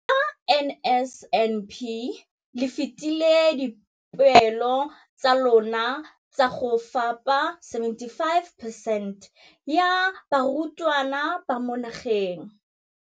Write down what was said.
Ka NSNP le fetile dipeelo tsa lona tsa go fepa masome a supa le botlhano a diperesente ya barutwana ba mo nageng.